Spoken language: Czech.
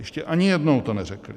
Ještě ani jednou to neřekli.